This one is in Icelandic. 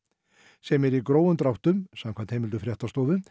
sem er í grófum dráttum samkvæmt heimildum fréttastofu